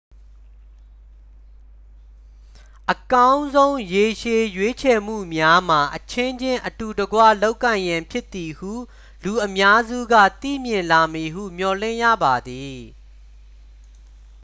အကောင်းဆုံး ရေရှည် ရွေးချယ်မှုများမှာ အချင်းချင်း အတူတကွ လုပ်ကိုင်ရန်ဖြစ်သည်ဟု လူအများစုက သိမြင်လာမည်ဟု မျှော်လင့်ရပါသည်